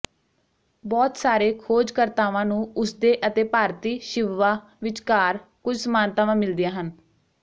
ਬਹੁਤ ਸਾਰੇ ਖੋਜਕਰਤਾਵਾਂ ਨੂੰ ਉਸਦੇ ਅਤੇ ਭਾਰਤੀ ਸ਼ਿਵਵਾ ਵਿਚਕਾਰ ਕੁਝ ਸਮਾਨਤਾਵਾਂ ਮਿਲਦੀਆਂ ਹਨ